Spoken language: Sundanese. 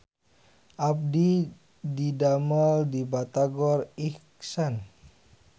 Abdi didamel di Batagor Ikhsan